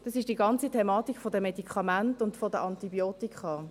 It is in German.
Das ist die ganze Thematik der Medikamente und der Antibiotika.